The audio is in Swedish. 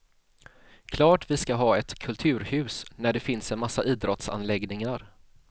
Klart vi skall ha ett kulturhus när det finns en massa idrottsanläggningar.